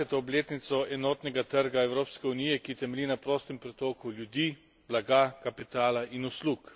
20. obletnico enotnega trga v Evropski uniji, ki temelji na prostem pretoku ljudi, blaga, kapitala in uslug.